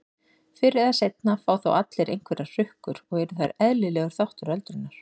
Fyrr eða seinna fá þó allir einhverjar hrukkur og eru þær eðlilegur þáttur öldrunar.